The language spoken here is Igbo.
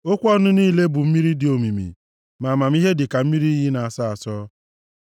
Okwu ọnụ niile bụ mmiri dị omimi, ma amamihe dị ka mmiri iyi na-asọ asọ.